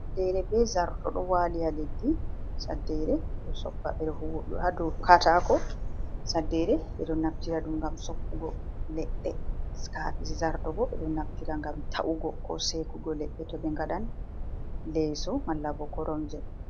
Saddere be zarto ɗo wali ha leddi. Saddere ɓeɗo soppa ɓe ɗo huwa ha dou katako, saddere ɓeɗo naftiraɗum ngam soppugo ledɗe. Zartobo ɓeɗon naftira ngam ta’ugo ko Seekugo ledɗe to ɓe ngaɗan leeso malla bo koromje.